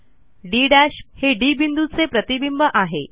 D हे D बिंदूचे प्रतिबिंब आहे